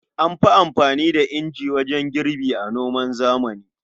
An fi anfani da inji wajen girbi a noman zamani.